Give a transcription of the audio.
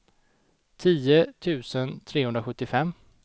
tio tusen trehundrasjuttiofem